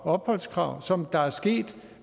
opholdskrav som der er sket